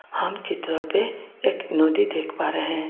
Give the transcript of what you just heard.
हम चित्र पे एक नदी देख पा रहे हैं.